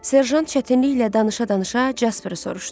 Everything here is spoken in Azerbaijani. Serjant çətinliklə danışa-danışa Casperi soruşdu.